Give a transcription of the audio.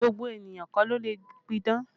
Gbogbo ènìyàn kọ́ ló lè pidán